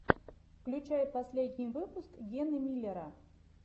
включай последний выпуск гены миллера